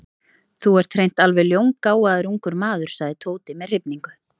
Þú ert hreint alveg ljóngáfaður ungur maður sagði Tóti með hrifningu.